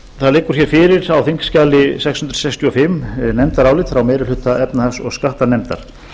það liggur fyrir á þingskjali sex hundruð sextíu og fimm nefndarálit frá meiri hluta efnahags og skattanefndar